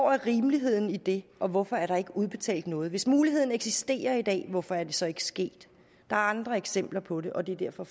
rimeligheden i det og hvorfor er der ikke udbetalt noget hvis muligheden eksisterer i dag hvorfor er det så ikke sket der er andre eksempler på det og det er derfor